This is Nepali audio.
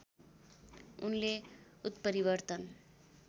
उनले उत्परिवर्तन